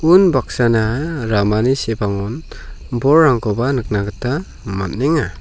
unbaksana ramani sepangon bolrangkoba nikna gita man·enga.